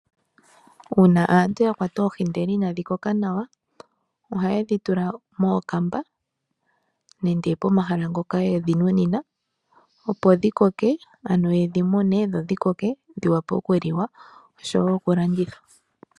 Uuna aantu ya kwata oohi ndele inadhi koka nawa ohaye dhi tula mookamba nenge momahala ngoka ye dhi nunina, opo dhi koke, ano ye dhi mune dho dhi koke dhi vule okuliwa, osho wo okulanditha.